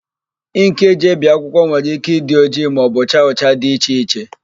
Ịnkị e ji ebi akwụkwọ nwere ike ịdị ojii maọbụ cha ụcha dị iche iche.